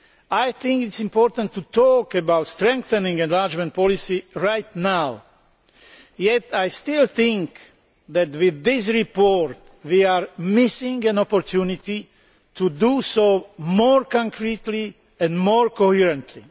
I think it is important to talk about strengthening enlargement policy right now, yet I still think that with this report we are missing an opportunity to do so more concretely and more coherently.